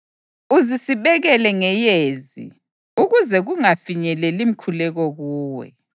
Uzisibekele ngeyezi ukuze kungafinyeleli mkhuleko kuwe.